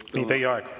Teie aeg!